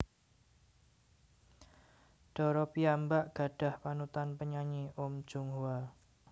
Dara piyambak gadhah panutan penyanyi Uhm Jung Hwa